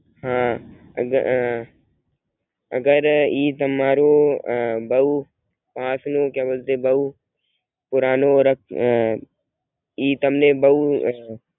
હમ અગર ઈ તમારું અ બોવ આંખ નું ક્યાં બોલતેહે બોવ પુરાનું ઈ તમને બોવ